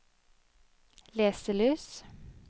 leselys